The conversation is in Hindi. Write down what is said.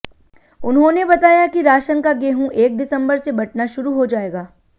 उन्होंने बताया कि राशन का गेंहू एक दिसम्बर से बंटना शुरू हो जाएगा